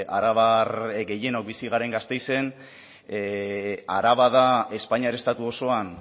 arabar gehienok bizi garen gasteizen araba da espainiar estatu osoan